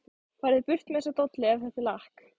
FARÐU BURT MEÐ ÞESSA DOLLU EF ÞETTA ER LAKK.